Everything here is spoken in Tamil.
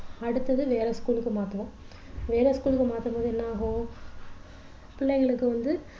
அடுத்தது வேற school க்கு மாத்துவோம் வேற school க்கு மாத்தும்போது என்ன ஆகும் பிள்ளைங்களுக்கு வந்து